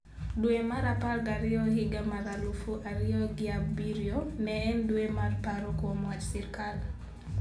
Dwe mar apar gariyo higa 2007 ne en dwe mar paro kuom wach sirkal.